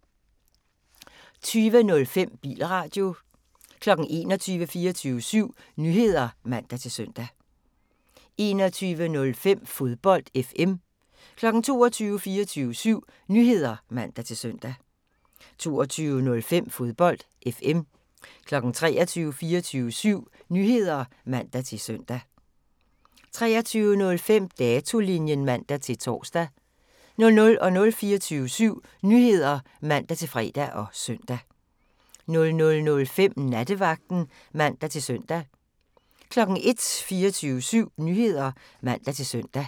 20:05: Bilradio 21:00: 24syv Nyheder (man-søn) 21:05: Fodbold FM 22:00: 24syv Nyheder (man-søn) 22:05: Fodbold FM 23:00: 24syv Nyheder (man-søn) 23:05: Datolinjen (man-tor) 00:00: 24syv Nyheder (man-fre og søn) 00:05: Nattevagten (man-søn) 01:00: 24syv Nyheder (man-søn)